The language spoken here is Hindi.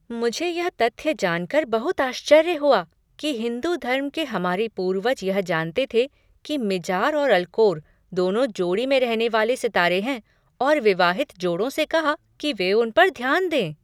मुझे यह तथ्य जानकर बहुत आश्चर्य हुआ कि हिंदू धर्म के हमारे पूर्वज यह जानते थे कि मिजार और अल्कोर दोनों जोड़ी में रहने वाले सितारे हैं और विवाहित जोड़ों से कहा कि वे उन पर ध्यान दें।